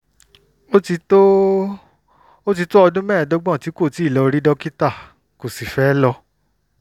ó ti tó ó ti tó ọdún mẹ́ẹ̀ẹ́dọ́gbọ̀n tí kò ti lọ rí dókítà kò sì fẹ́ lọ